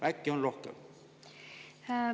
Äkki on rohkem?